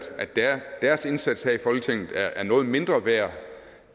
deres indsats her i folketinget er noget mindre værd